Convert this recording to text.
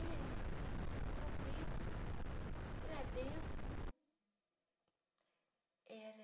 E aí, com o tempo, e lá dentro, era...